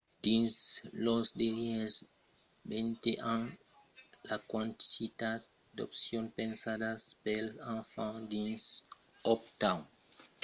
dins los darrièrs 20 ans la quantitat d'opcions pensadas pels enfants dins uptown charlotte a crescut exponencialament